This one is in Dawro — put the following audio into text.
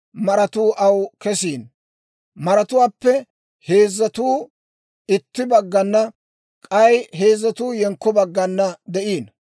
Miyyiyaanna usuppun maratuu aw kesiino; maratuwaappe heezzatuu itti baggana, k'ay heezzatuu yenkko baggana de'ino.